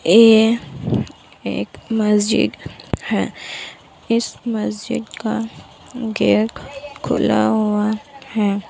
ये एक मस्जिद है इस मस्जिद का गेट खुला हुआ है।